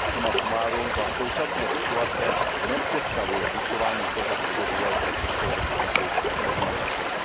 Suma sumárum, za současné situace nepředstavuje zvyšování hmotnosti vozidel pro Českou republiku vhodné řešení.